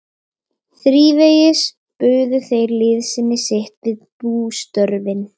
Þrívegis buðu þeir liðsinni sitt við bústörfin.